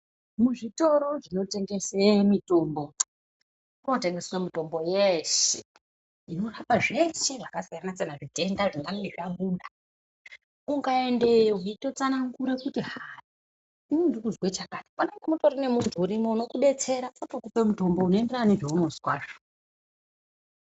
Muzvitoro zvinotengese mitombo kunotengeswe mitombo yeshe inorapa zveshe zvakasiyana-siyana zvitenda zvingange zvabuda. Ukaendeyo zveitotsanangura kuti hai inini ndirikuzwe chakati panenge patorine muntu urimo unokubetsera otokupe mutombo unoenderana nezvaunozwazvo.